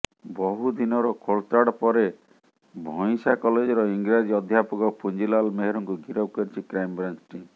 ବହୁଦିନର ଖୋଳତାଡ଼ ପରେ ଭଇଁସା କଲେଜର ଇଂରାଜୀ ଅଧ୍ୟାପକ ପୁଞ୍ଜିଲାଲ ମେହେରକୁ ଗିରଫ କରିଛି କ୍ରାଇମବ୍ରାଞ୍ଚ ଟିମ୍